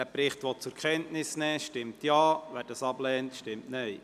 Wer diesen Bericht zur Kenntnis nehmen will, stimmt Ja, wer dies ablehnt, stimmt Nein.